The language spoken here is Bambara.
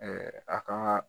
a ka